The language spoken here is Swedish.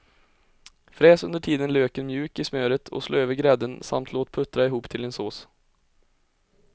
Fräs under tiden löken mjuk i smöret och slå över grädden samt låt puttra ihop till en sås.